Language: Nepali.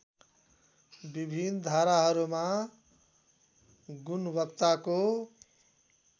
विभिन्न धाराहरूमा गुणवत्ताको